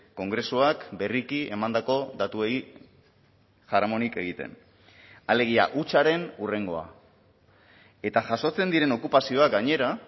kongresuak berriki emandako datuei jaramonik egiten alegia hutsaren hurrengoa eta jasotzen diren okupazioak gainera